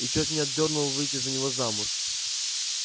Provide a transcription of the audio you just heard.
и чёрт меня дёрнул выйти за него замуж